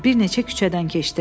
Bir neçə küçədən keçdilər.